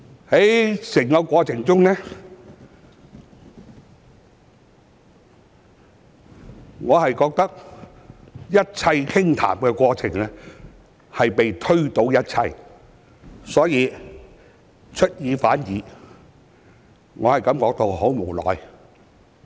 在整個過程中，我覺得一切傾談的過程被全部推倒，出爾反爾，我感到很無奈。